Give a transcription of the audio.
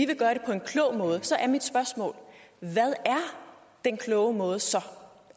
vil gøre det på en klog måde så er mit spørgsmål hvad er den kloge måde så